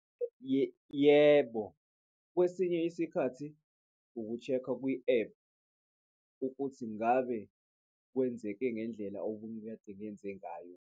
Yebo, kwesinye isikhathi uku-check-a kwi-app ukuthi ngabe kwenzeke ngendlela omunye kade enze ngayo.